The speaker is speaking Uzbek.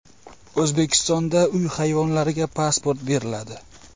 O‘zbekistonda uy hayvonlariga pasport beriladi.